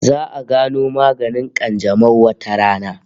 Za'a gano maganin kanjamau wata rana